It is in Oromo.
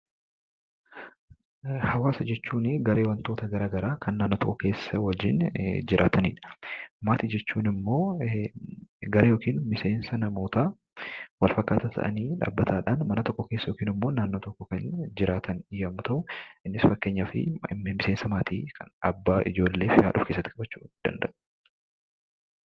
Hawwaasa jechuun garee wantoota garaa garaa kan naannoo tokko keessa waliin jiratanii dha. Maatii jechuun immoo garee yookiin miseensa namootaa wal fakkaataa ta'anii dhaabbataadhaan mana tokko keessa yookiin immoo naannoo tokko keessa jiraatan yammuu ta'uu innis fakkeenyaaf miseensa maatii abbaa, haadha fi ijoollee of keessatti qabachuu danda'u.